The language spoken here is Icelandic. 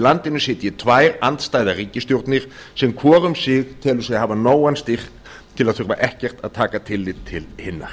landinu sitji tvær andstæðar ríkisstjórnir sem hvor um sig telur sig hafa nógan styrk til að þurfa ekkert að taka tillit til hinnar